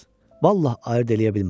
Vallah, ayırd eləyə bilmirəm.